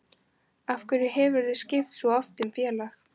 Af hverju hefurðu skipt svo oft um félag?